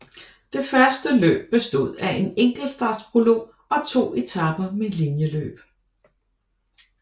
Det første løb bestod af en enkeltstartsprolog og to etaper med linjeløb